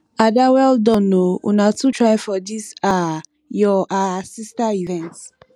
ada well oo una too try for dis um your um sister event